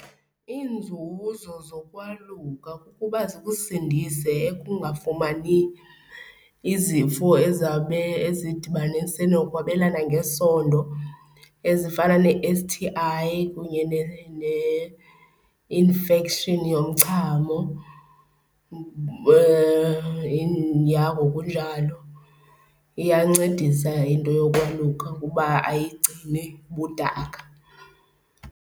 Iinzuzo zokwaluka kukuba zikusindise ekungafumani izifo ezawube ezidibanise nokwabelana ngesondo ezifana ne-S_T_I kunye ne-infection yomchamo, yah ngokunjalo. Iyancedisa into yokwaluka kuba ayigcini bumdaka.